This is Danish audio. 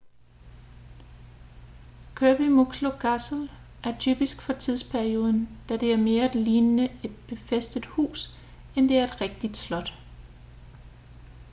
kirby muxloe castle er typisk for tidsperioden da det er mere lignende et befæstet hus end det er et rigtigt slot